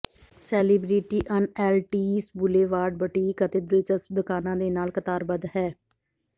celebrity ਅਣਐਲਟੀਸ boulevard boutique ਅਤੇ ਦਿਲਚਸਪ ਦੁਕਾਨਾਂ ਦੇ ਨਾਲ ਕਤਾਰਬੱਧ ਹੈ